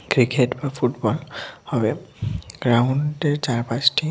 cricket বা football হবে গ্রাউন্ডের চারপাশটি--